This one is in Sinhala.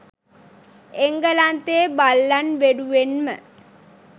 එංගලන්තයේ බල්ලන් වෙනුවෙන්ම